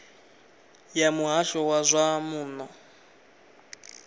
ya muhasho wa zwa muno